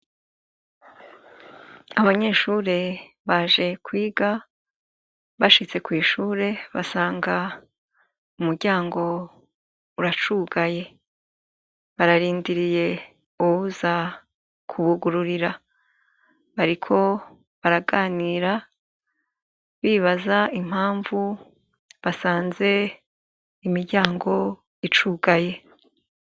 Abanyeshure baje kwiga, bashitse kw' ishure basanga umuryango uracugaye. Bararindiriye uwuza kubugururira. Bariko baraganira bibaza impapuro basanze imiryango icugaye.